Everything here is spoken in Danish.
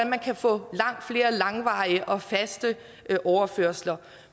man kan få langt flere langvarige og faste overførsler